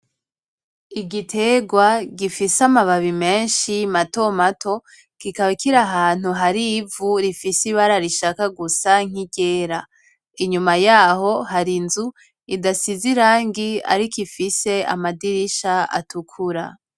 Igiterwa gifise amababi menshi mato mato kikaba kiri ahantu hari ivu rifise iraba rishaka gusa nk'iryera, inyuma yaho hari inzu idasize irangi ariko ifise amadirisha atukura.